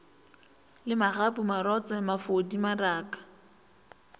le magapu marotse mafodi maraka